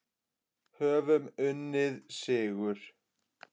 Höfum unnið sigur.